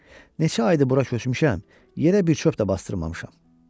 Neçə aydır bura köçmüşəm, hələ bir çöp də bastırmamışam.